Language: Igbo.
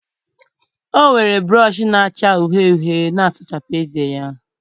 O were brọsh na-acha uhie uhie na-asachapụ ezé ya.